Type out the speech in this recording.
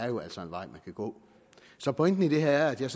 jo altså en vej man kan gå så pointen i det her er at jeg